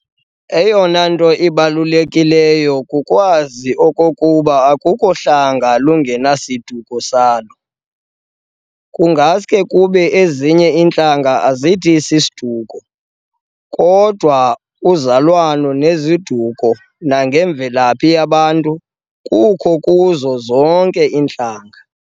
Eyona nto ibalulekileyo kukwazi okokuba akukho hlanga lungenasiduko salo, kungaske kube ezinye intlanga azithi 'siduko' kodwa uzalwano ngeziduko nangemvelaphi yabantu kukho kuzo zonke iintlanga.